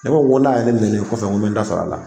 Ne ko ko n'a ye n nɛni nin kɔfɛ n ko n be n ta sarɔ a la.